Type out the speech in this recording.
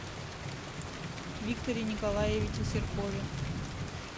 викторе николаевиче серкове